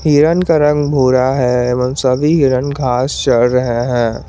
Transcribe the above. हिरन का रंग भूरा है और सभी हिरन घास चार रहे हैं।